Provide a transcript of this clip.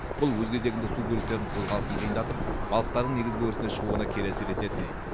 бұл өз кезегінде су көліктерінің қозғалысын қиындатып балықтардың негізгі өрісіне шығуына кері әсер ететін